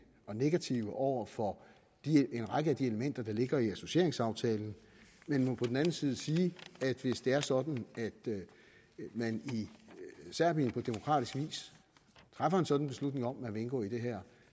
og negative over for en række af de elementer der ligger i associeringsaftalen men vil på den anden side sige at hvis det er sådan at man i serbien på demokratisk vis træffer en sådan beslutning om at man vil indgå i det her